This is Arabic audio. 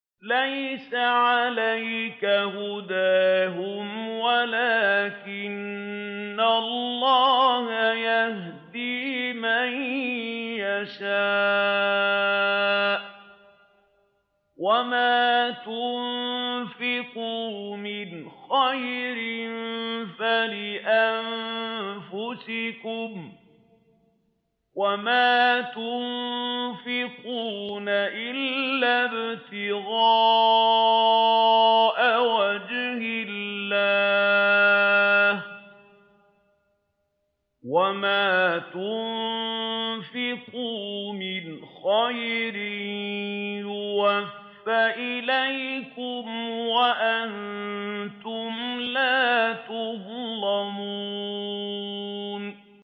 ۞ لَّيْسَ عَلَيْكَ هُدَاهُمْ وَلَٰكِنَّ اللَّهَ يَهْدِي مَن يَشَاءُ ۗ وَمَا تُنفِقُوا مِنْ خَيْرٍ فَلِأَنفُسِكُمْ ۚ وَمَا تُنفِقُونَ إِلَّا ابْتِغَاءَ وَجْهِ اللَّهِ ۚ وَمَا تُنفِقُوا مِنْ خَيْرٍ يُوَفَّ إِلَيْكُمْ وَأَنتُمْ لَا تُظْلَمُونَ